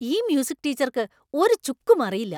ഈ മ്യൂസിക് ടീച്ചര്‍ക്ക് ഒരു ചുക്കും അറിയില്ല.